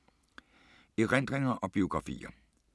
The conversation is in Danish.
Erindringer og biografier